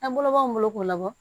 An bolo b'anw bolo k'o labɔ